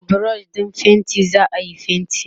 da brush ɗin fainti zaayi fainti